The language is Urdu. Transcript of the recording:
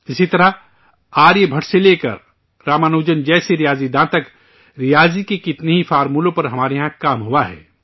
اسی طرح، آریہ بھٹ سے لے کر رامانوج جیسے ماہر ریاضی دانوں تک ریاضی کے کتنے ہی اصولوں پر ہمارے یہاں کام ہوا ہے